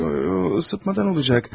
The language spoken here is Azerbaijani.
Yox yox, isitmədən olacaq.